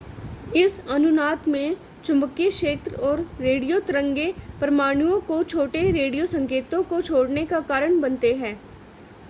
इस अनुनाद में चुंबकीय क्षेत्र और रेडियो तरंगें परमाणुओं को छोटे रेडियो संकेतों को छोड़ने का कारण बनते हैं